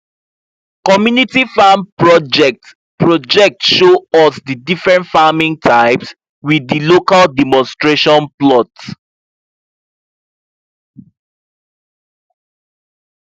community farm project project show us di different farming types with di local demonstration plots